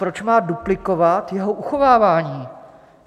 Proč má duplikovat jeho uchovávání?